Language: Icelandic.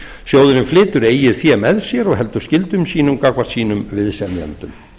sjóðurinn flytur eigið fé með sér og heldur skyldum sínum gagnvart sínum viðsemjendum